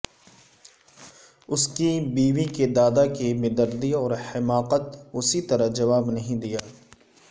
اس کی بیوی کے دادا کی بیدردی اور حماقت اسی طرح جواب نہیں دیا